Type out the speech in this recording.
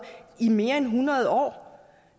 i mere end hundrede år